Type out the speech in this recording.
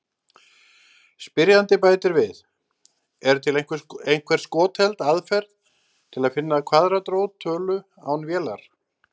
Spyrjandi bætir við: Er til einhver skotheld aðferð til að finna kvaðratrót tölu án vélar?